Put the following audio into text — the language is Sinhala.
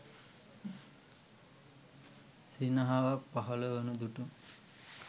සිනහවක් පහළ වනු දුටු